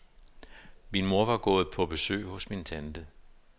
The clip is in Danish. Min mor var gået på besøg hos min tante.